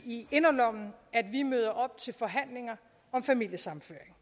i inderlommen at vi møder op til forhandlinger om familiesammenføring